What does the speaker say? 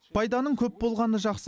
пайданың көп болғаны жақсы